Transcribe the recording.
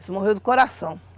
Esse morreu do coração.